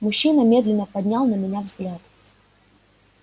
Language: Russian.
мужчина медленно поднял на меня взгляд